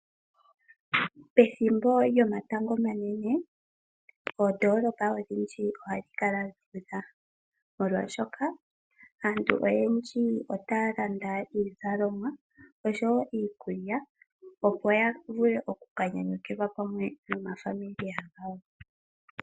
Pethimbo lyomatango omanene oondolopa odhindji ohadhi kala dhuudha molwaashoka aantu oyendji otaya landa iikulya oshowo iizalomwa, opo ya vule okukanyanyukilwa pamwe naakwanezimo yawo.